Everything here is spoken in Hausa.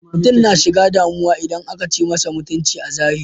Mutum na shiga damu idan akan ci masa mutunci a zahiri.